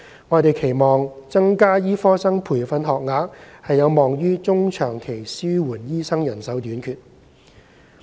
我們期望增加醫科生培訓學額有望於中長期紓緩醫生人手短缺。